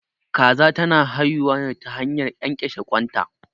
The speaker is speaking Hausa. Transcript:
Kaza ta na haihuwa ne ta hanyar ƙyanƙyashe ƙwan ta